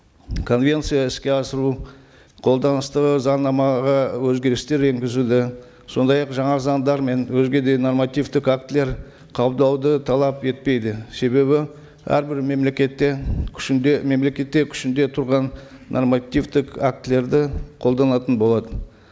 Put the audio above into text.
конвенция іске асыру қолданыстағы заңнамаға өзгерістер енгізуді сондай ақ жаңа заңдар мен өзге де нормативтік актілер қабылдауды талап етпейді себебі әрбір мемлекетте күшінде мемлекетте күшінде тұрған нормативтік актілерді қолданатын болады